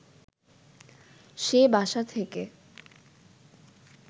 সে বাসা থেকে